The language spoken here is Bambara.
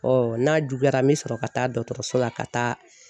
n'a juguyara n bɛ sɔrɔ ka taa dɔgɔtɔrɔso la ka taa